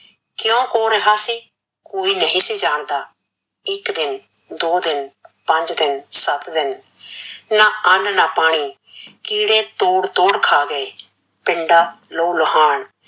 ਕਿਉਕਿ ਕੌਰ ਰਿਹਾ ਸੀ, ਕੋਈ ਨਹੀਂ ਜਾਣਦਾ, ਇੱਕ ਦਿਨ, ਦੋ ਦਿਨ, ਪੰਜ ਦਿਨ, ਸਤ ਦਿਨ, ਨਾਂ ਅਨ ਨਾਂ ਪਾਣੀ, ਕੀੜੇ ਤੋੜ ਤੋੜ ਖਾ ਗਏ, ਪਿੰਡਾਂ ਲਹੂ ਲੋਹਾਣ,